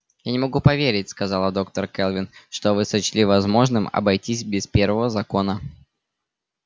я не могу поверить сказала доктор кэлвин что вы сочли возможным обойтись без первого закона